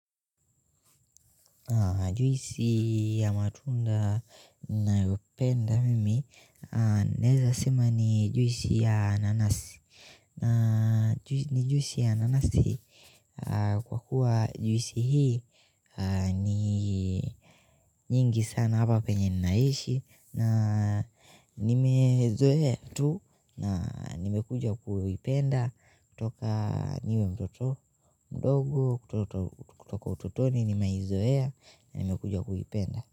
Juisi ya matunda ninayopenda mimi naeza sema ni juisi ya nanasi ni juisi ya nanasi kwa kuwa juisi hii ni nyingi sana hapa penye ninaishi na nimezoea tu na nimekuja kuipenda kutoka niwe mtoto mdogo kutoka utotoni nimeizoea na nimekuja kuipenda.